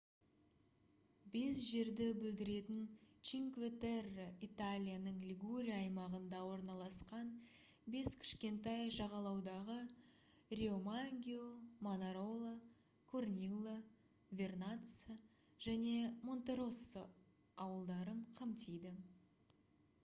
бес жерді білдіретін чинкве терре италияның лигурия аймағында орналасқан бес кішкентай жағалаудағы риомаггио манарола корнилла вернацца және монтероссо ауылдарын қамтиды